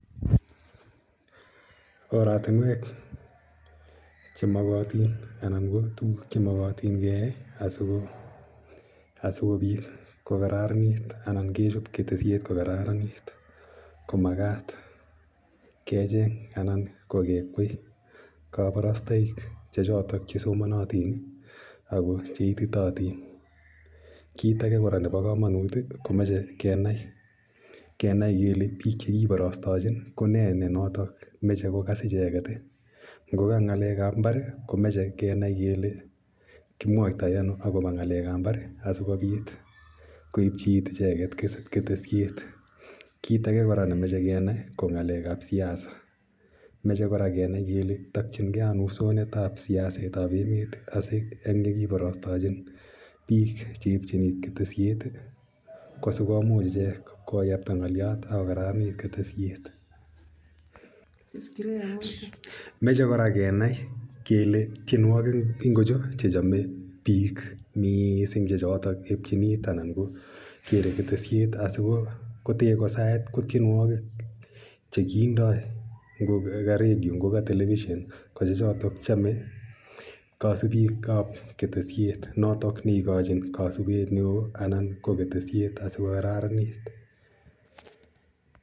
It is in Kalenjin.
Oratunwek che makatin anan ko tuguk che makatin keyae asikopot kokararanit anan kechop keteshet ko kararanit ko makat ke cheng' anan ko kekwei kaparastaik che chotok che somanatin ako che ititaatin. Kiit age kora nepo kamanut ko mache kenai kole piik che kiparastachin ko ne notok mache kokas icheget. Ngo ka ng'alek ap imbar ko mache kenai kele kimwaitai ano akopa ng'alek ap imbar asikopit koepchi iit icheget ketesiet. Kiit kora ne mache kenai ko ng'alek ap siasa. Mache kora kenai kele takchinge ano usonet ap siaset ap emet asi eng' ye kiparastachin piik che epchin iit keteshet, ko si komuch ichek koyapta ng'alyot ak ko kararanit ketesiet. Mache kora kenai kele tienwogik ingocho che chame piik missing' che chotok epchin iit anan ko kere keteshet asiko ko te ko saet ko tienwogik che kindai ngo ka redio, ngo ka telepishon ko che chotok chame kasupik ap ketesiet. Notok ne ikachin kasupet ne oo anan ko ketesiet asiko kararanit.